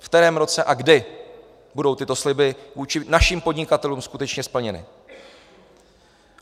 V kterém roce a kdy budou tyto sliby vůči našim podnikatelům skutečně splněny?